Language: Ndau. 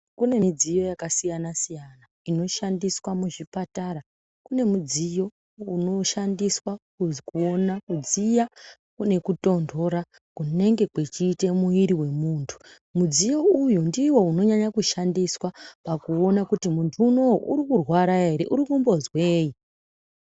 Kune midziyo yakasiyana-siyna inoshandiswa muzvipatara. Kune mudziyo unoshandiswa kuona kudziya nekutondora kunenge kuchiite mwiiri wemuntu. Mudziyo uwu ndiwo unonyanya kushandiswa pakuona kuti muntu unowuu urikurwara here, urikumbonzweyi.